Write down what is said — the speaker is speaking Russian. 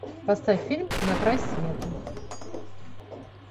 поставь фильм на край света